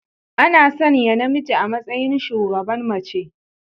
Ana sanya namiji a matsayin shugaban mace.